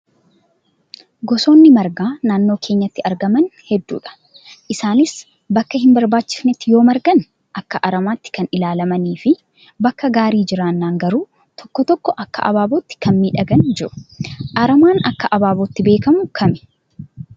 Gosoonni margaa naannoo keenyatti argaman hedduudha. Isaanis bakka hin barbaachifnetti yoo margan akka aramaatti kan ilaalamanii fi bakka gaarii jiraannaan garuu tokko tokko akka abaabootti kan miidhagani jiru. Aramaa akka abaabootti beekamu kami?